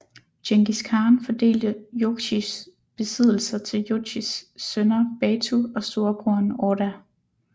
Djengis Khan fordelte Jochis besiddelser til Jochis sønner Batu og storebroren Orda